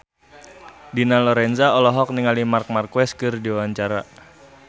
Dina Lorenza olohok ningali Marc Marquez keur diwawancara